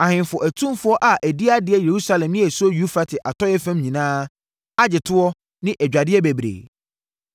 Ahemfo atumfoɔ a adi adeɛ Yerusalem ne asuo Eufrate atɔeɛ fam nyinaa agye toɔ ne adwadeɛ bebree.